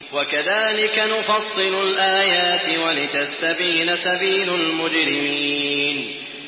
وَكَذَٰلِكَ نُفَصِّلُ الْآيَاتِ وَلِتَسْتَبِينَ سَبِيلُ الْمُجْرِمِينَ